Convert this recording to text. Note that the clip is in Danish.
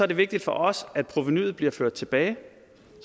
det vigtigt for os at provenuet bliver ført tilbage